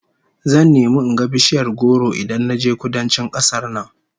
Zan nemi in ga bishiyar goro Idan naje Kudancin kasar nan